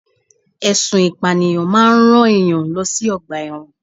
Ẹsùn ìpànìyàn máa ń rán ènìyàn lọ sí ọgbà ẹ̀wọ̀n